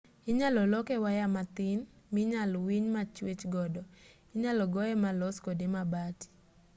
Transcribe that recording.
inyal loke waya mathin minyal winy machwech godo inyal goye malos kode mabati